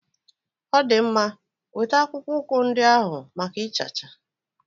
Ọ dị mma, weta akpụkpọ ụkwụ ndị ahụ maka ịchacha.